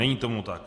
Není tomu tak.